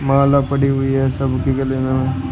माला पड़ी हुई है सब की गले में।